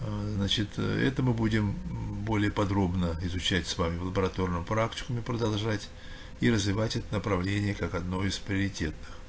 аа значит это мы будем более подробно изучать с вами в лабораторном практикуме продолжать и развивать это направление как одно из приоритетных